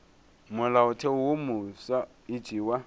molaotheo wo mofsa e tšewa